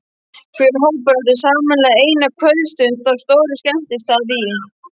Hver hópur átti sameiginlega eina kvöldstund á stórum skemmtistað í